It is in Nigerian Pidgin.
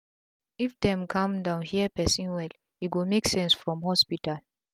if dem calm down hear persin wel e go make sense from hospital